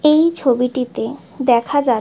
এই ছবিটিতে দেখা যা --